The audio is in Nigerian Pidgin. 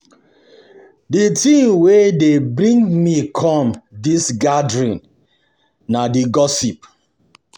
The The thing wey dey bring me come dis gathering na the gossip